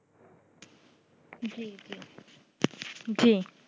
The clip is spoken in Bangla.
জি জি জি জি